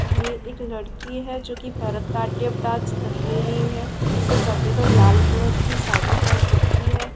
ये एक लड़की है जो की भरतनाट्यम डांस कर रही है इसने सफ़ेद और लाल कलर की साड़ी पेहन रखी है।